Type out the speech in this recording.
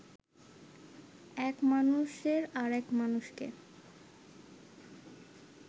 এক মানুষের আরেক মানুষকে